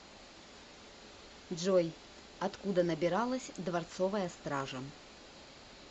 джой откуда набиралась дворцовая стража